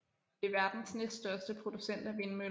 Det er verdens næststørste producent af vindmøller